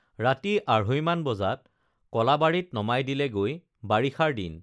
ৰাতি আঢ়ৈ মান বজাত কলাবাৰীত নমাই দিলেগৈ বাৰিষাৰ দিন